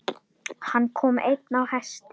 Hann kom einn á hesti.